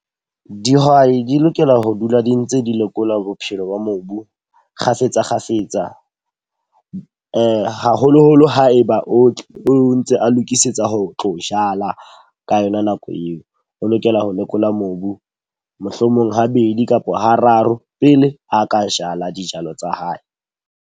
Dihwai di lokela ho dula di ntse di lekola bophelo ba mobu kgafetsa kgafetsa. Haholoholo ha e ba o tle o ntse a lokisetsa ho tlo jala ka yona nako eo. O lokela ho lekola mobu mohlomong habedi kapo hararo pele a ka jala dijalo tsa hae.